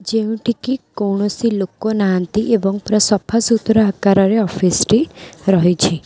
ଯେଉଁଠି କି କୌଣସି ଲୋକ ନାହାଁନ୍ତି ଏବଂ ପୁରା ସଫା ସୁତୁରା ଆକାର ରେ ଅଫିସ୍ ଟି ରହିଛି।